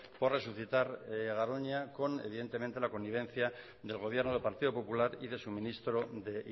por resucitar garoña con evidentemente la connivencia del gobierno del partido popular y de su ministro de